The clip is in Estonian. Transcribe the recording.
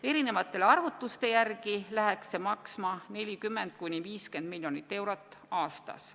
Erinevate arvutuste järgi läheks see maksma 40–50 miljonit eurot aastas.